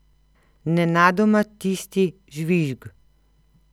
Nenadoma tisti žvižg.